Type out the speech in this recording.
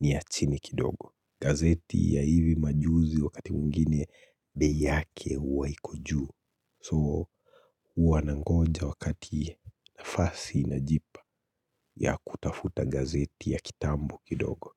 ni ya chini kidogo. Gazeti ya hivi majuzi wakati mwingine bei yake huwa iko juu. So huwa nangonja wakati nafasi inajipa ya kutafuta gazeti ya kitambo kidogo.